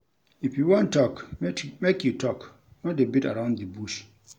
If you wan tok, make you tok, no dey beat around di bush.